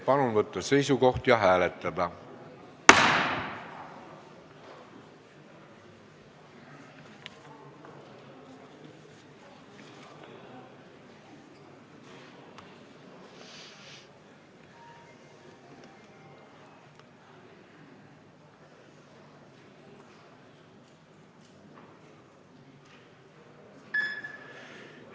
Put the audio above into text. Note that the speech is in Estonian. Palun võtta seisukoht ja hääletada!